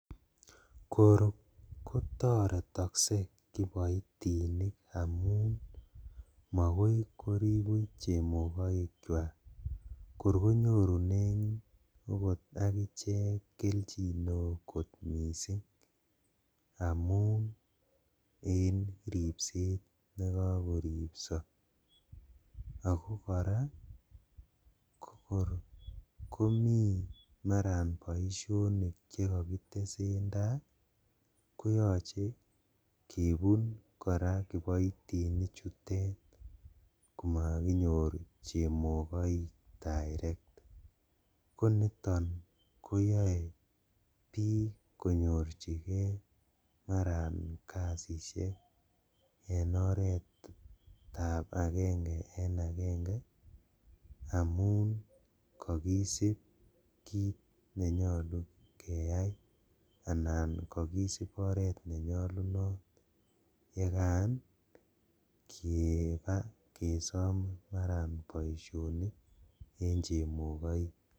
Kor kotoretokse kiboitinik amun makoi korib buch chemokoikwak kor konyorunen okot akichek keljin neo kot missing' amun en ribset nekokoribso, ako koraa kokoron komi maran boishonik chekokitesendaa koyoche kebun koraa kiboitinichutet komokinyor chemoik direct koniton koyoe bik konyorjigee maran kazishek en oretab agenge en agenge amun kokisib kit nenyolu keyai anan kolisib oret nenyolunot yekan kebaa kesom maran boishonik.